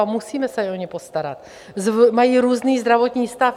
A musíme se o ně postarat, mají různý zdravotní stav.